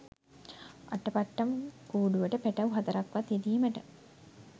අටපට්ටම් කූඩුවට පැටව් හතරක් වත් යෙදීමට